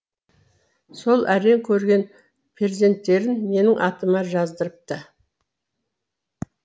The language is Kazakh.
сол әрең көрген перзенттерін менің атыма жаздырыпты